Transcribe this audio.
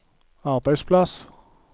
arbeidsplass